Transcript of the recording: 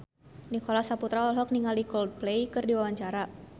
Nicholas Saputra olohok ningali Coldplay keur diwawancara